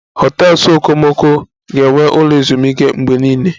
Hotels okomoko ga-enwe ụlọ ezumike mgbe niile